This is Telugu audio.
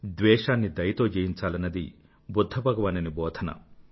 ద్వేషాన్ని దయతో జయించాలన్నది బుధ్ధ భగవానుని బోధన